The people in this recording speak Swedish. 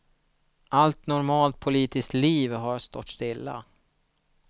Allt normalt politiskt liv har stått stilla.